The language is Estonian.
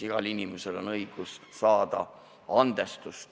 Igal inimesel on õigus leida andestust.